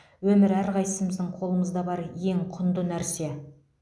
өмір әрқайсымыздың қолымызда бар ең құнды нәрсе